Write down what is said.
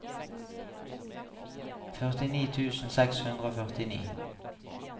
førtini tusen seks hundre og førtini